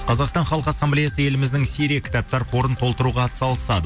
қазақстан халық ассамблеясы еліміздің серия кітаптар қорын толтыруға атсалысады